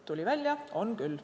Tuli välja, et on küll.